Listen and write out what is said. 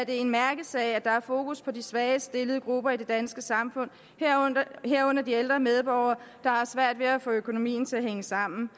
en mærkesag at der er fokus på de svagest stillede grupper i det danske samfund herunder de ældre medborgere der har svært ved at få økonomien til at hænge sammen